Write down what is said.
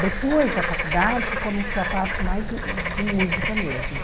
Depois da faculdade que começou a parte mais de música mesmo.